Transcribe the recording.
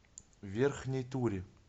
верхней туре